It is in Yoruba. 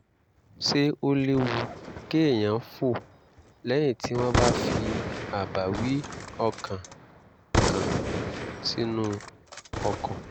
ṣé ó léwu kéèyàn fò lẹ́yìn tí wọ́n bá fi àbáwí ọkàn kan sínú ọkọ̀?